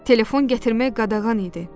Telefon gətirmək qadağan idi.